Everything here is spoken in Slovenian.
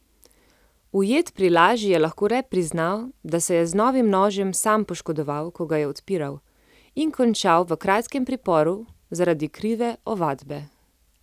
Ujet pri laži je lahko le priznal, da se je z novim nožem sam poškodoval, ko ga je odpiral, in končal v kratkem priporu zaradi krive ovadbe.